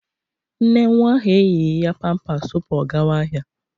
Nne nwa ahụ eyighi ya pampas tupu ọ gawa ahịa.